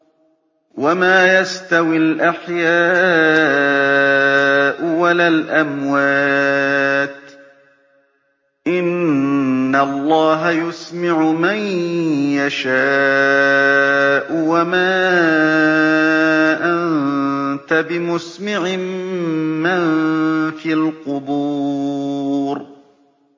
وَمَا يَسْتَوِي الْأَحْيَاءُ وَلَا الْأَمْوَاتُ ۚ إِنَّ اللَّهَ يُسْمِعُ مَن يَشَاءُ ۖ وَمَا أَنتَ بِمُسْمِعٍ مَّن فِي الْقُبُورِ